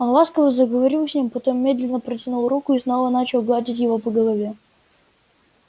он ласково заговорил с ним потом медленно протянул руку и снова начал гладить его по голове